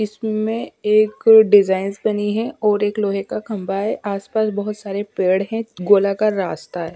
इसमें एक डिजाइंस बनी है और एक लोहे का खंभा है आसपास बहुत सारे पेड़ हैं गोलाकार रास्ता है।